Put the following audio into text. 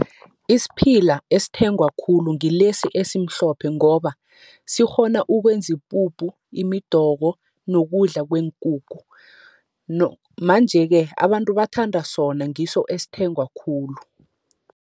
Isiphila esithengwa khulu ngilesi esimhlophe, ngoba sikghona ukwenza ipuphu, imidoko nokudla kweenkukhu. Manje-ke abantu bathanda sona ngiso esithengwa khulu.